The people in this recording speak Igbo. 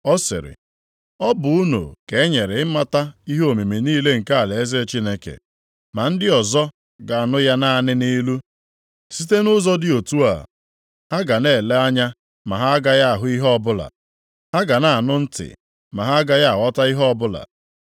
Ọ sịrị, “Ọ bụ unu ka e nyere ịmata ihe omimi niile nke alaeze Chineke, ma ndị ọzọ ga-anụ ya naanị nʼilu. Site nʼụzọ dị otu a, “ ‘ha ga na-ele anya, ma ha agaghị ahụ ihe ọbụla. Ha ga na-anụ ntị ma ha agaghị aghọta ihe ọbụla.’ + 8:10 \+xt Aịz 6:9\+xt*